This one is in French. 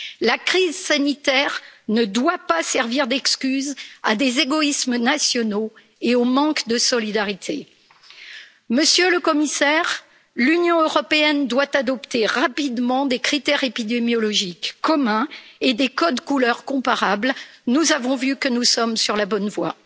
La crise sanitaire ne doit pas servir d'excuse à des égoïsmes nationaux et au manque de solidarité. Monsieur le Commissaire, l'Union européenne doit adopter rapidement des critères épidémiologiques communs et des codes couleurs comparables, nous avons vu que nous sommes sur la bonne voie.